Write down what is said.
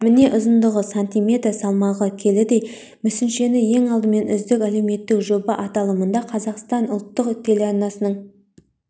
міне ұзындығы см салмағы келідей мүсіншені ең алдымен үздік әлеуметтік жоба аталымында қазақстан ұлттық телеарнасының